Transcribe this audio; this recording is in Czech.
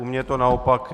U mě je to naopak.